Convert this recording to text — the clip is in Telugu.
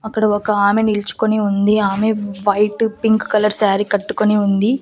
అక్కడ ఒక ఆమె నిల్చుకొని ఉంది ఆమె వైటు పింక్ కలర్ సారీ కట్టుకొని ఉంది.